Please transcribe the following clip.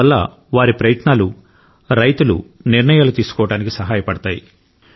అందువల్ల వారి ప్రయత్నాలు రైతులు నిర్ణయాలు తీసుకోవడానికి సహాయపడతాయి